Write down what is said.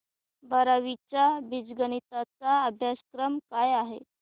बारावी चा बीजगणिता चा अभ्यासक्रम काय आहे